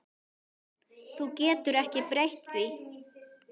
Þú getur ekki breytt því.